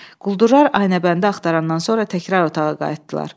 Quldurlar Aynəbəndi axtarandan sonra təkrar otağa qayıtdılar.